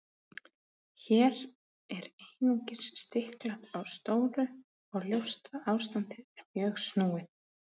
Hér er einungis stiklað á stóru og ljóst að ástandið er mjög snúið.